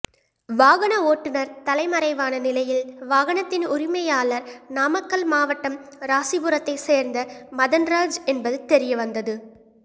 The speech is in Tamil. வாகன ஓட்டுனர் தலைமறைவான நிலையில் வாகனத்தின் உரிமையாளார் நாமக்கல் மாவட்டம் ராசிபுரத்தை சேர்ந்த மதன்ராஜ் என்பது தெரியவந்தது